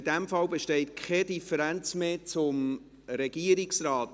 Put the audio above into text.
In diesem Fall besteht keine Differenz mehr zum Regierungsrat.